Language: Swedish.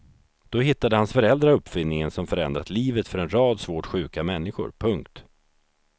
Då hittade hans föräldrar uppfinningen som förändrat livet för en rad svårt sjuka människor. punkt